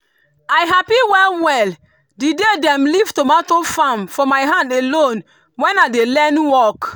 i happy well well the day dem leave tomato farm for my hand alone when i dey learn work.